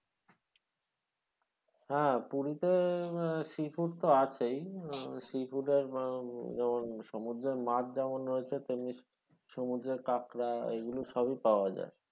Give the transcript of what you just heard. হ্যাঁ পুরিতে sea food তো আছেই sea food আহ যেমন সমুদ্রের মাছ যেমন রয়েছে তেমনি সমুদ্রের কাঁকড়া এগুলো সবই পাওয়া যায়।